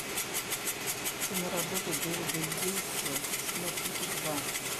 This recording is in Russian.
киноработа дэвида ейтса смурфики два